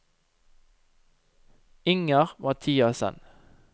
Inger Mathiassen